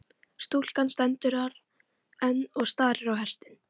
Stúlkan stendur þar enn og starir á hestinn.